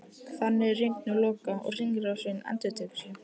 Þannig er hringnum lokað og hringrásin endurtekur sig.